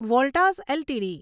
Voltas LTD